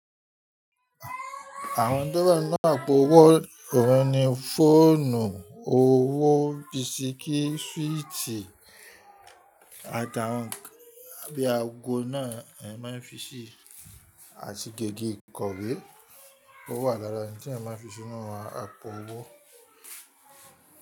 Àwọn oun tò wà nínú àpò owó oun ní fóònù, owó, bíiṣíkí, súwìtì, àti àwọn nkan bí àgò náà, a máa ń fi ṣí, àti gègé ìkọ̀wé. Ó wà lára oun tí ẹeyan máa ń fi sínú àpò owó.